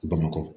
Bamakɔ